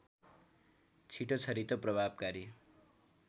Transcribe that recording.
छिटो छरितो प्रभावकारी